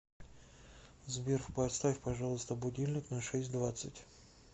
сбер поставь пожалуйста будильник на шесть двадцать